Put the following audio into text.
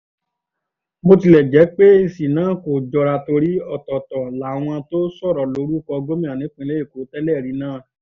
bó tilẹ̀ jẹ́ pé èsì náà kò jọra torí ọ̀tọ̀ọ̀tọ̀ làwọn tó sọ̀rọ̀ lórúkọ gómìnà ìpínlẹ̀ èkó tẹ́lẹ̀rí náà